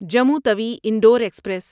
Jammu Tawi Indore express